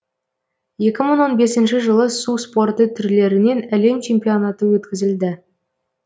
екі мың он бесінші жылы су спорты түрлерінен әлем чемпионаты өткізілді